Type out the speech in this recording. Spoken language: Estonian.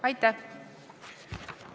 Aitäh!